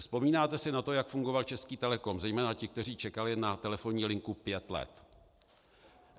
Vzpomínáte si na to, jak fungoval Český Telecom, zejména ti, kteří čekali na telefonní linku pět let?